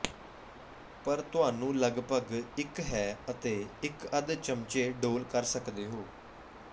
ਪਰ ਤੁਹਾਨੂੰ ਲਗਭਗ ਇੱਕ ਹੈ ਅਤੇ ਇੱਕ ਅੱਧ ਚਮਚੇ ਡੋਲ੍ਹ ਕਰ ਸਕਦੇ ਹੋ